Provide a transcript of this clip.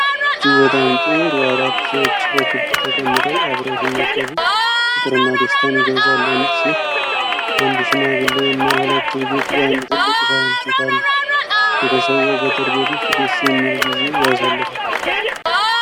እጅግ በጣም ጥሩ! አራት ሰዎች በክብ ተቀምጠው አብረው ሲመገቡ ፍቅርና ደስታን ይገልጻሉ። አንዲት ሴት፣ አንድ ሽማግሌ እና ሁለት ልጆች በአንድ ትልቅ ሳህን ፊት አሉ። ቤተሰቡ በገጠር ቤት ውስጥ ደስ የሚል ጊዜ ያሳልፋል።